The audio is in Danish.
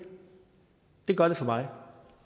det gør det for mig